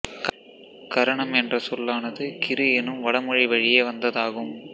கரணம் என்ற சொல்லானது கிறு எனும் வடமொழி வழியே வந்ததாகும்